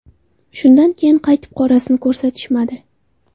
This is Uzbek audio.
Shundan keyin qaytib qorasini ko‘rsatishmadi.